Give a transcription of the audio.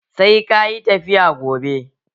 Sai kayi tafiya gobe!